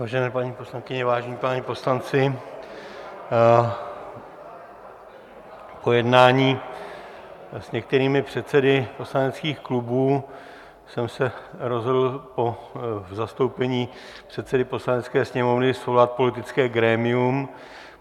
Vážené paní poslankyně, vážení páni poslanci, po jednání s některými předsedy poslaneckých klubů jsem se rozhodl v zastoupení předsedy Poslanecké sněmovny svolat politické grémium.